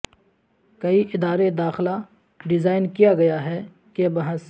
کئی ادارے داخلہ ڈیزائن کیا گیا ہے کہ بحث